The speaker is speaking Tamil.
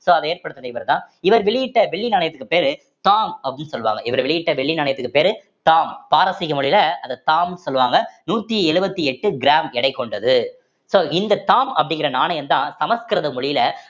so அத ஏற்படுத்துனது இவர்தான் இவர் வெளியிட்ட வெள்ளி நாணயத்துக்கு பேரு தாம் அப்படின்னு சொல்லுவாங்க இவர் வெளியிட்ட வெள்ளி நாணயத்துக்கு பேரு தாம் பாரசீக மொழியில அத தாம் சொல்லுவாங்க நூத்தி எழுபத்தி எட்டு கிராம் எடை கொண்டது so இந்த தாம் அப்படிங்கிற நாணயம்தான் சமஸ்கிருத மொழியில